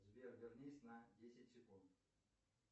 сбер вернись на десять секунд